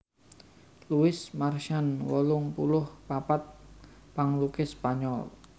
Luis Marsans wolung puluh papat panglukis Spanyol